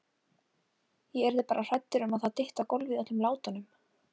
Ég yrði bara hrædd um að það dytti á gólfið í öllum látunum!